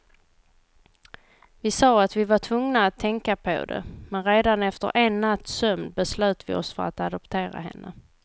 Vi sa att vi var tvungna att tänka på det, men redan efter en natts sömn beslöt vi oss för att adoptera henne.